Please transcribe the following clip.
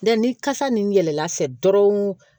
ni kasa nin yɛlɛla fɛ dɔrɔnw